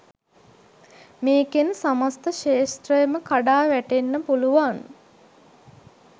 මේකෙන් සමස්ත ක්‍ෂේත්‍රයම කඩා වැටෙන්න පුළුවන්.